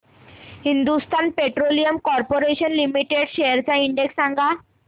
Hindustan petroleum corporation limited shares चा index सांगा